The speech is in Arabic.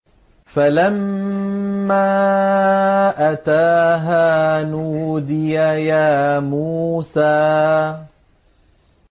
فَلَمَّا أَتَاهَا نُودِيَ يَا مُوسَىٰ